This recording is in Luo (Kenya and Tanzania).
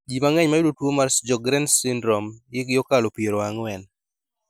ji mang'eny mayudo tuwo mar Sjogren's Syndrome hikgi okalo piero ang'wen